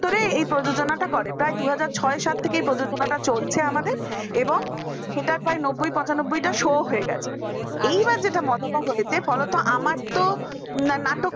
প্রায়ই প্রজনাটা করে প্রায় দুই হাযার ছই সাত থেকেই এই প্রয়োজনটা চলছে আমাদের এবং সেটা প্রায় নব্বই পছানবুই টা শুঅ হয়ে গেছে । এবার যেটা মজাটা হয়েছে ফলো তো আমার তো নাটক